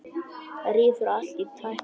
Rífur allt í tætlur.